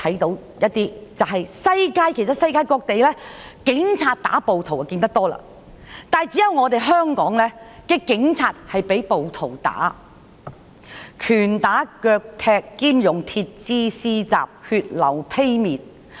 代理主席，世界各地，警察打暴徒是常見的事，但只有香港的警察被暴徒打，拳打腳踢兼用鐵枝施襲，導致血流披面。